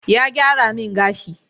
Ya gyara min gashi